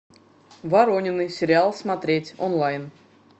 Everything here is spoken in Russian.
воронины сериал смотреть онлайн